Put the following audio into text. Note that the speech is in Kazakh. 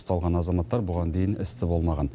ұсталған азаматтар бұған дейін істі болмаған